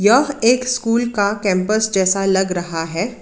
यह एक स्कूल का कैंपस जैसा लग रहा है।